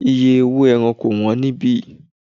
Iye owó ẹran kò wón ní ibí.